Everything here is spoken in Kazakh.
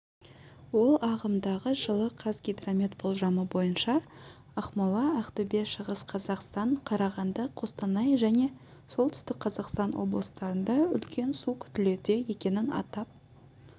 ол ағымдағы жылы қазгидромет болжамы бойынша ақмола ақтөбе шығыс қазақстан қарағанды қостанай және солтүстік қазақстан облыстарында үлкен су күтілуде екенін атап